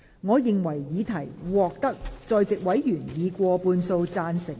我認為議題獲得在席委員以過半數贊成。